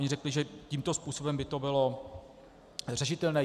Oni řekli, že tímto způsobem by to bylo řešitelné.